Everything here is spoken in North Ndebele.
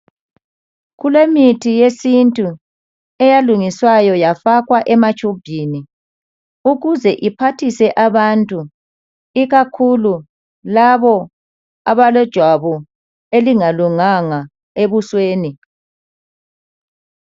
Kulemithi yesintu eyalungiswayo yafakwa ematshubhini. Ukuze iphathise abantu ikakhulu labo abalejwabu elingalunganga ebusweni.